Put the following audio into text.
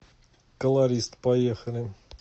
колорист поехали